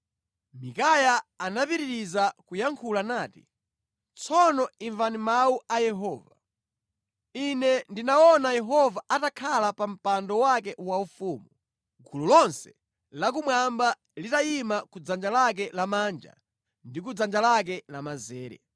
Mikaya anapitiriza kuyankhula nati, “Tsono imvani mawu a Yehova: Ine ndinaona Yehova atakhala pa mpando wake waufumu, gulu lonse la kumwamba litayima ku dzanja lake lamanja ndi ku dzanja lake lamanzere.